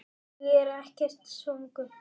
Ég er ekkert svangur